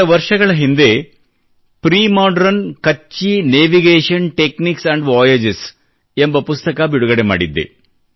ಕೆಲ ವರ್ಷಗಳ ಹಿಂದೆ premodern Kutchi Kachchhi navigation techniques and voyages ಎಂಬ ಪುಸ್ತಕ ಬಿಡುಗಡೆ ಮಾಡಿದ್ದೆ